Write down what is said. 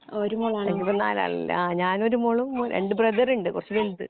എനിക്കിപ്പം നാലാളല്ലേ ഞനൊരു മോളും മോ രണ്ടു ബ്രദർ ഉണ്ട് കുറച്ചു വലുത്